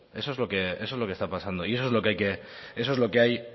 eso es lo que está pasando y eso es lo que hay